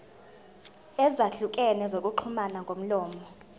ezahlukene zokuxhumana ngomlomo